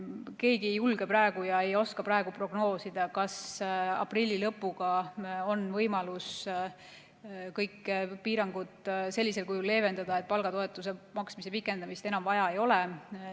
Keegi ei julge ja ei oska praegu prognoosida, kas aprilli lõpul on võimalik kõiki piiranguid sellisel kujul leevendada, et palgatoetuse maksmise pikendamist enam vaja ei ole.